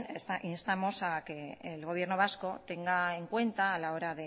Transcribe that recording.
instamos a que el gobierno vasco tenga en cuenta a la hora